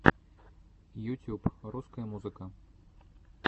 ютюб русская музыка